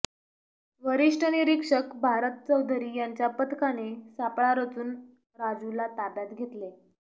वरिष्ठ निरीक्षक भारत चौधरी यांच्या पथकाने सापळा रचून राजूला ताब्यात घेतले